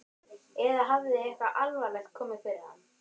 Eða hafði eitthvað alvarlegt komið fyrir hann?